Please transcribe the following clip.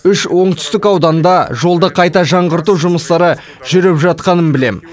үш оңтүстік ауданда жолды қайта жаңғырту жұмыстары жүріп жатқанын білемін